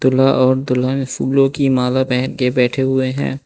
ल्हा और दुल्हन फूलों की माला पहन के बैठे हुए हैं।